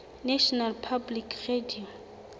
national public radio